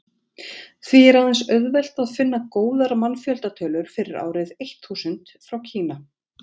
því er aðeins auðvelt að finna góðar mannfjöldatölur fyrir árið eitt þúsund frá kína